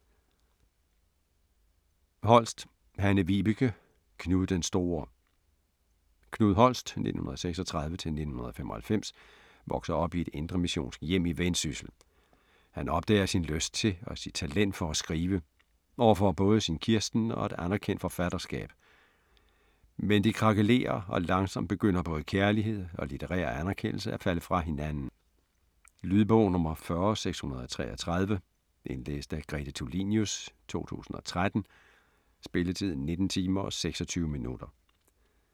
Holst, Hanne-Vibeke: Knud, den store Knud Holst (1936-1995) vokser op i et indremissionsk hjem i Vendsyssel. Han opdager sin lyst til og sit talent for at skrive, og får både sin Kirsten og et anerkendt forfatterskab. Men det krakelerer og langsomt begynder både kærlighed og litterær anerkendelse at falde fra hinanden. Lydbog 40633 Indlæst af Grete Tulinius, 2013. Spilletid: 19 timer, 26 minutter.